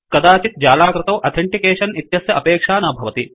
कदाचित् जालाकृतौ अथेंटिकेशन् इत्यस्य अपेक्षा न भवति